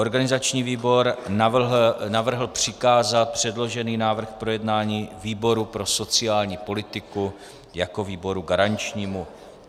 Organizační výbor navrhl přikázat předložený návrh k projednání výboru pro sociální politiku jako výboru garančnímu.